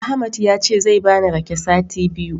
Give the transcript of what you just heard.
Ahmad yace zai bani rake sati biyu.